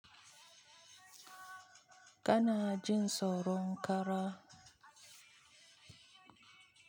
Kana jin tsoron kara?